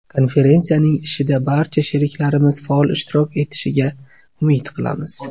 Konferensiyaning ishida barcha sheriklarimiz faol ishtirok etishiga umid qilamiz.